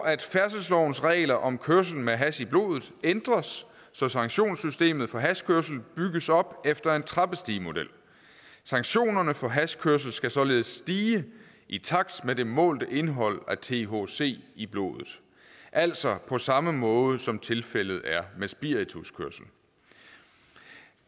at færdselslovens regler om kørsel med hash i blodet ændres så sanktionssystemet for hashkørsel bygges op efter en trappestigemodel sanktionerne for hashkørsel skal således stige i takt med det målte indhold af thc i blodet altså på samme måde som tilfældet er med spirituskørsel